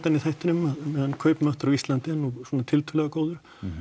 í þættinum á meðan kaupmáttur á Íslandi er nú svona tiltölulega góður